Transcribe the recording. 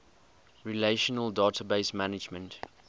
relational database management